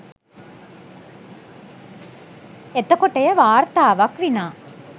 එතකොට එය වාර්තාවක් විනා